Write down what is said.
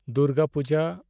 Durga Puja (Navratri)